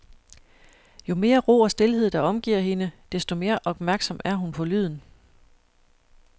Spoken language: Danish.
Jo mere ro og stilhed, der omgiver hende, desto mere opmærksom er hun på lyden.